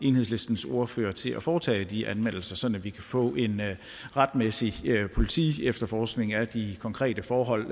enhedslistens ordfører til at foretage de anmeldelser sådan at vi kan få en retsmæssig politiefterforskning af de konkrete forhold